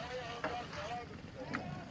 Ay ustad, ay ustad, oyana da.